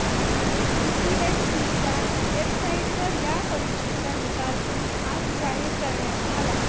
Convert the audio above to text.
यूपीएससीच्या वेबसाईटवर या परीक्षेचा निकाल आज जाहीर करण्यात आला